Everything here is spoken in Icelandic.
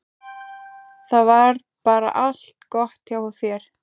Það var bara allt gott hjá þér.